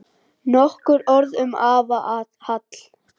Nokkur orð um afa Hall.